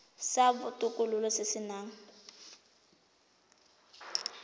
sa botokololo se se nang